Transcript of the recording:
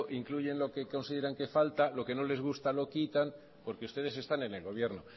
incluyen lo que consideran que falta lo que no les gusta lo quitan porque ustedes están en el gobierno